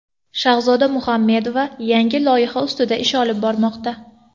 Shahzoda Muhammedova yangi loyiha ustida ish olib bormoqda.